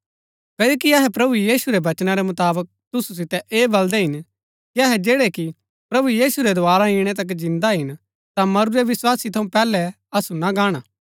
क्ओकि अहै प्रभु यीशु रै वचना रै मुताबक तुसु सितै ऐह बल्‍दै हिन कि अहै जैड़ै कि प्रभु यीशु रै दोवारा इणै तक जिन्दा हिन ता मरुरै विस्वासी थऊँ पैहलै असु ना गाणा